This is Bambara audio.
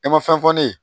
E ma fɛn fɔ ne ye